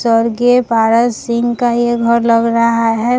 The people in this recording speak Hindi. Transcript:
स्वर्गीय पारस सिंह का ये घर लग रहा है।